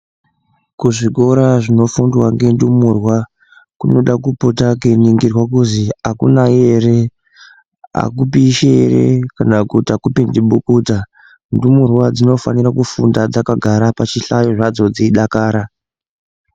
Kuzvikora zvinofundwa ngendumurwa kunoda kupota kweuningirwa kuzi akunayi ere akupishi ere kana kuti akupindi bukuta ndumurwa dzinofanirwa kufunda dzakagara pazvihlayo padzo dzeidakara.